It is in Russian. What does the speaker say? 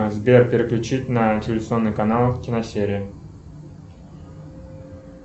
сбер переключить на телевизионный канал киносерия